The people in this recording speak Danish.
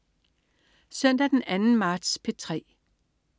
Søndag den 2. marts - P3: